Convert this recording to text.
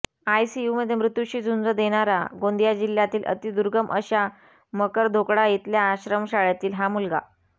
आयसीयूमध्ये मृत्यूशी झुंज देणारा गोंदिया जिल्ह्यातील अतिदुर्गम अशा मकरधोकडा इथल्या आश्रमशाळेतील हा मुलगा